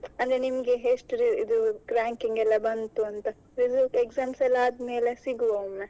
ಅಂದ್ರೆ ನಿಮಗೆ ಎಷ್ಟು ranking ಎಲ್ಲಾ ಬಂತು ಅಂತ ರಿ~ exams ಎಲ್ಲಾ ಆದ್ಮೇಲೆ ಸಿಗ್ವ ಒಮ್ಮೆ.